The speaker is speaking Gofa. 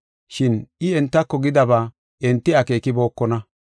Shin I entako gidaba enti akeekibokona.